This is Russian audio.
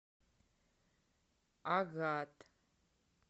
агат